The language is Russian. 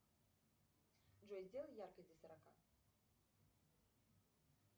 джой сделай яркость до сорока